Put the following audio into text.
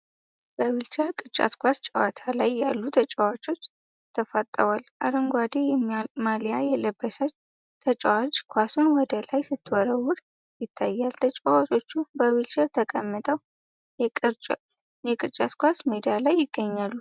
በዊልቸር ቅርጫት ኳስ ጨዋታ ላይ ያሉ ተጫዋቾች ተፋጠዋል። አረንጓዴ ማሊያ የለበሰችው ተጫዋች ኳሱን ወደ ላይ ስትወረውር ይታያል። ተጫዋቾቹ በዊልቸር ተቀምጠው የቅርጫት ኳስ ሜዳ ላይ ይገኛሉ።